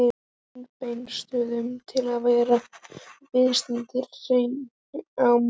Kolbeinsstöðum til að verða viðstaddir hreppskilin á morgun.